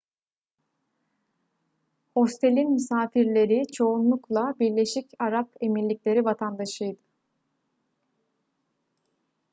hostelin misafirleri çoğunlukla birleşik arap emirlikleri vatandaşıydı